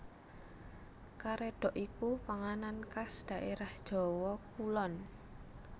Karédhok iku panganan khas dhaérah Jawa Kulon